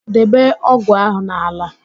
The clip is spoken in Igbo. Debe ógụ̀ ahụ n'ala!